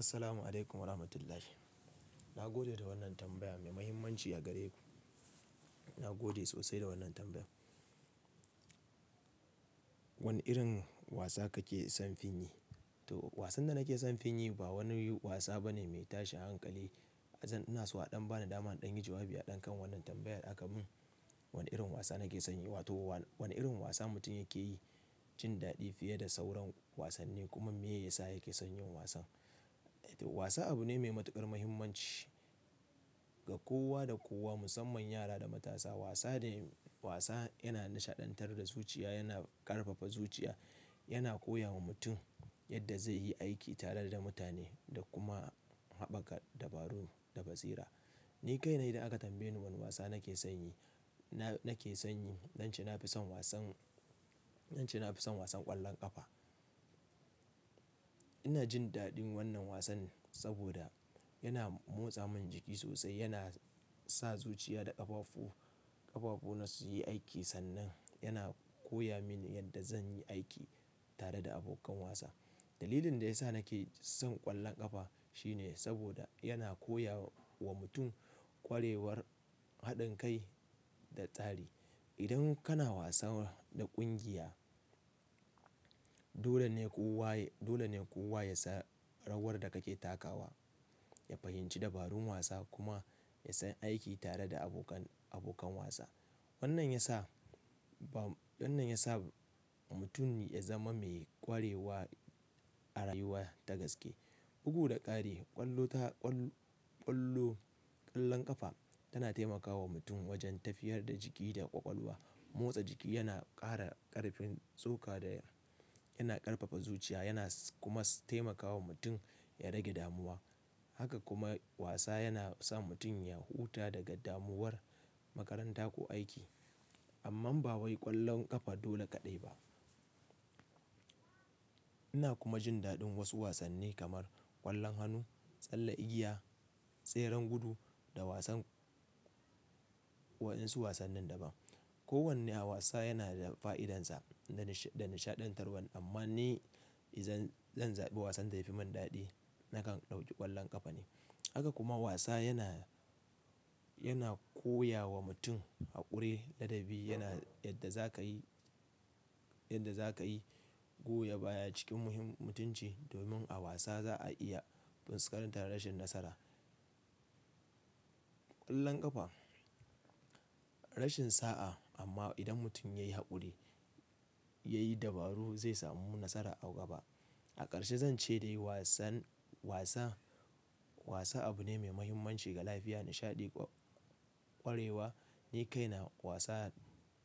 Assalamu alaikum wa rahmatullahi. Na gode da wannan tambaya mai muhimmanci a gare ku. Na gode sosai da wannan tambaya. Wane irin wasa kake son fin yi? To wasan da nake son fin yi ba wani wasa bane mai tashin hankali. Zan-- ina so a ɗan bani dama in ɗan yi jawabi a ɗan kan wannan tambayar da aka mun. Wane irin wasa nake son yi? Wato wa-- wane irin wasa mutum yake yi jin daɗi fiye da sauran wasanni kuma me ya sa yake son yin wasan. Wasa abu ne mai matuƙar muhimmanci ga kowa da kowa, musamman yara da matasa. Wasa de-- wasa yana nishaɗantar da zuciya, yana ƙarfafa zuciya, yana koya wa mutum yadda zai yi aiki tare da mutane da kuma haɓaka dabaru da basira. Ni kaina idan aka tambaye ni wani wasa nake son yi, na-nake son yi, zance na fi son wasan, zance na fi son wasan ƙwallon ƙafa. Ina jin daɗin wannan wasan saboda yana motsa min jiki sosai, yana sa zuciya da ƙafafu, ƙafafu na su yi aiki sannan yana koya min yadda zan yi aiki tare da abokan wasa. Dalilin da ya sa nake son ƙwallon ƙafa shine saboda yana koya wa mutum ƙwarewar haɗin kai da tsari. Idan kana wasa da ƙungiya, dole ne kowa, dole ne kowa ya san rawar da kake takawa, ya fahimci dabarun wasa kuma ya san aiki tare da abokan, abokan wasa. Wannan ya sa ba-- wannan ya sa mutum ya zama mai ƙwarewa a rayuwa ta gaske. Bugu da ƙari, ƙwallo ta, ƙwall-ƙwallo, ƙwallon ƙafa tana taimakawa mutum wajen tafiyar da jiki da ƙwaƙwalwa. Motsa jiki yana ƙara ƙarfin tsoka da yana ƙarfafa zuciya, yana kuma taimakawa mutum ya rage damuwa. Haka kuma wasa yana sa mutum ya huta daga damuwar makaranta ko aiki. Amman ba wai ƙwallon ƙafa dole kaɗai ba. Ina kuma jin daɗin wasu wasanni kamar ƙwallon hannu, tsalle, igiya, tseren gudu da wasan waɗansu wasannin daban. Ko wanne a wasa yana da fa'idansa da, da nishaɗantarwa amma ni izan zan zaɓi wasan da yafi mun daɗi, nakan ɗauki ƙwallon ƙafa ne. Haka kuma wasa yana, yana koya wa mutum haƙuri, ladabi yana yadda za ka yi, yadda za ka yi goya baya cikin muhim-mutunci. Domin a wasa za a iya fuskantar rashin nasara. Ƙwallon ƙafa rashin sa'a amma idan mutum yayi haƙuri, yayi dabaru zai samu nasara a gaba. A ƙarshe zan ce dai wasan, wasa, wasa abu ne mai muhimmanci ga lafiya, nishaɗi, ƙwarewa. Ni kaina wasan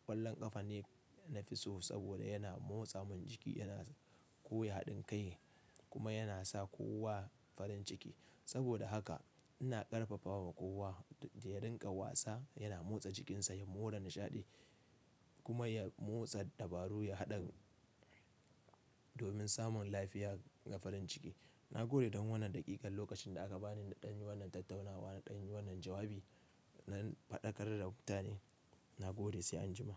ƙwallon ƙafa ne na fi so saboda yana motsa min jiki, yana koya haɗin kai kuma yana sa kowa farin ciki. Saboda haka ina ƙarfafawa kowa da ya ringa wasa, yana motsa jikinsa ya mora nishaɗi kuma ya motsa dabaru, ya haɗa domin samun lafiya da farin ciki. Na gode don wannan daƙikan lokacin da aka bani na ɗan yi wannan tattaunawa, na ɗan yi wannan jawabi. Na faɗakar da mutane, na gode sai anjima.